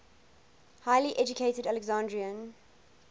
highly educated alexandrian